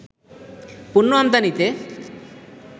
পণ্য আমদানিতে